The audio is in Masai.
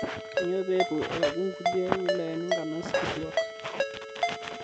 Kainyoo pee eitu eeku nkulie wilayani nkanas kituak?